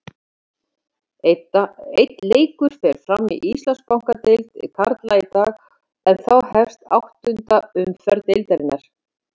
Einn leikur fer fram í Landsbankadeild karla í dag en þá hefst áttunda umferð deildarinnar.